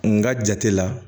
N ka jate la